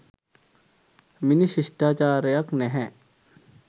මිනිස් ශිෂ්ටාචාරයක් නැහැ